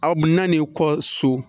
Aw na n'i kɔ so